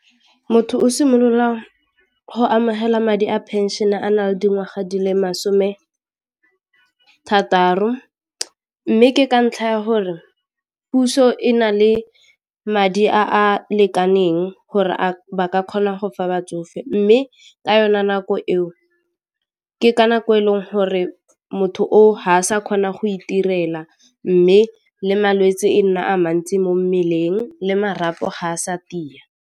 Motho o simolola go amogela madi a phenšene a na le dingwaga di le masome a thataro, mme ke ka ntlha ya gore puso e na le madi a a lekaneng gore a ba ka kgona go fa batsofe mme ka yone nako eo ke ka nako eleng gore motho oo ha a sa kgona go itirela mme le malwetse e nna a mantsi mo mmeleng le marapo ga a sa tia.